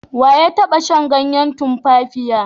We ya taba shan ganyen tumfafiya?